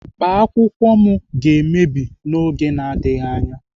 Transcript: Akpa akwụkwọ m ga-emebi n'oge na-adịghị anya.